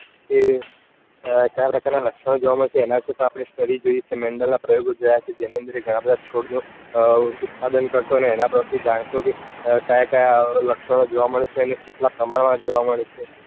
એ ક્યાં પ્રકાર ના લક્ષણો જોવા મળે છે. એના વિશે પર study જોઈ છે mendal ના પ્રયોગો જોયા છે. જેની અંદર ગણા બધા છોડ નું ઉત્પાદન કરતો અને એના પર થી જાણતો કે ક્યાં લક્ષણો જોવા મળે છે અને કેટલા પ્રકાર ના જોવા મળે છે.